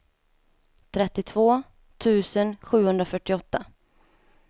trettiotvå tusen sjuhundrafyrtioåtta